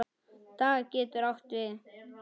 Dag getur átt við